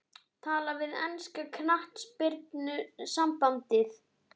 Tala við enska knattspyrnusambandið?